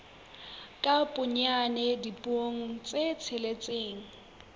ka bonyane dipuo tse tsheletseng